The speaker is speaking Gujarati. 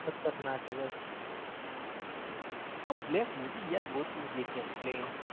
ખાત્ર ના ક ભાઈ હો ભાઈ bleck ગોતવું છે કયાક ભાઈ